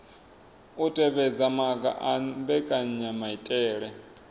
u tevhedza maga a mbekanyamaitele